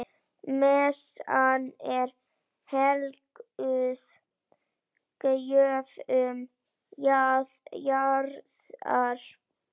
Messan er helguð gjöfum jarðar.